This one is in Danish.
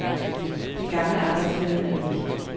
Den gamle arbejdsglæde er væk.